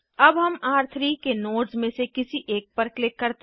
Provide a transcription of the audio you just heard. अब हम र3 के नोड्स में से किसी एक पर क्लिक करते हैं